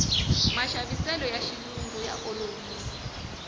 maxaviseloya xilungu ya olovisa